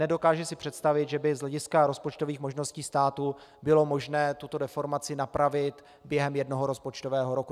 Nedokážu si představit, že by z hlediska rozpočtových možností státu bylo možné tuto deformaci napravit během jednoho rozpočtového roku.